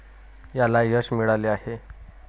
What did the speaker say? याला यश मिळाले आहे.